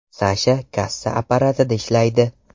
Sasha kassa apparatida ishlaydi.